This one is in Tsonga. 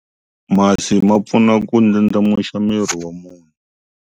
Masi ma pfuna ku ndlandlamuxa miri wa munhu.